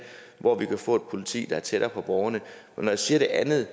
hvor vi får et politi der er tættere på borgerne når jeg siger det andet